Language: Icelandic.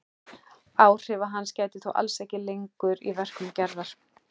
Áhrifa hans gætir þó alls ekki lengur í verkum Gerðar.